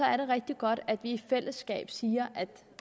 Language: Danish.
er det rigtig godt at vi i fællesskab siger at